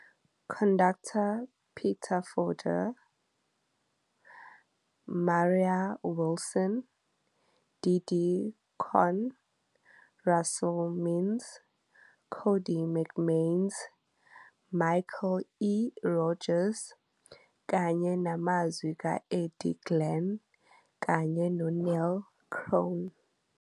Conductor, Peter Fonda, Mara Wilson, Didi Conn, Russell Means, Cody McMains, Michael E. Rodgers, kanye namazwi ka-Eddie Glen kanye no-Neil Crone.